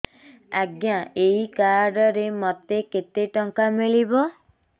ଆଜ୍ଞା ଏଇ କାର୍ଡ ରେ ମୋତେ କେତେ ଟଙ୍କା ମିଳିବ